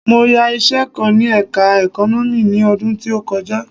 Mo yá iṣẹ kan ní ẹka Economics ni ọdún tí ó kọjá.